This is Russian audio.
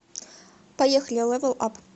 поехали левел ап